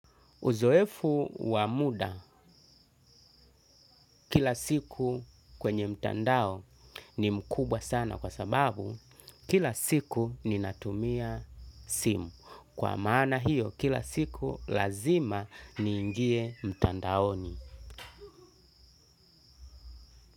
Uzoefu wamuda kila siku kwenye mtandao ni mkubwa sana kwa sababu kila siku ni natumia simu. Kwa maana hiyo kila siku lazima ni ingie mtandaoni.